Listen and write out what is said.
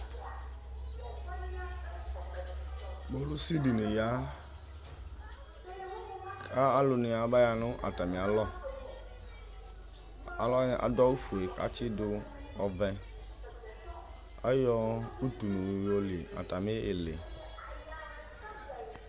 Kpolʋsɩ dini ya, kʋ alʋnɩ abaya nʋ atalɩ alɔ, alʋwanɩ adʋ awʋfue kʋ atsidʋ ɔvɛ zyɔ utunu yɔli atalɩ ɩlɩ.